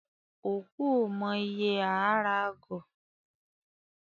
Òkú ò mọ ìye aa ra agọ̀